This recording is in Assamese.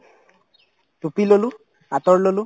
টুপি ললো আতৰ ললো